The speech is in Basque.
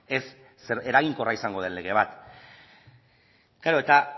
eraginkorra izango den lege bat klaro eta